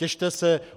Těšte se.